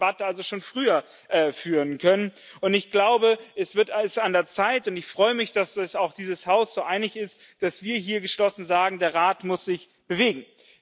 Wir hätten diese Debatte also schon früher führen können, und ich glaube, es ist an der Zeit und ich freue mich, dass sich dieses Haus so einig ist dass wir hier geschlossen sagen Der Rat muss sich bewegen!